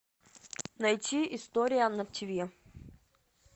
найти история на ти ви